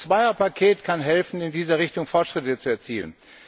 Das Zweierpaket kann helfen, in dieser Richtung Fortschritte zu erzielen.